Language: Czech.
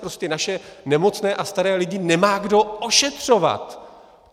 Prostě naše nemocné a staré lidi nemá kdo ošetřovat!